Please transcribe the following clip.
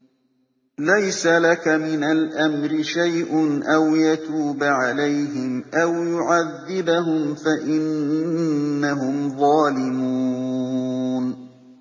لَيْسَ لَكَ مِنَ الْأَمْرِ شَيْءٌ أَوْ يَتُوبَ عَلَيْهِمْ أَوْ يُعَذِّبَهُمْ فَإِنَّهُمْ ظَالِمُونَ